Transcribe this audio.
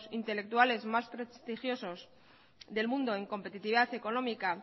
intelectuales más prestigiosos del mundo en competitividad económica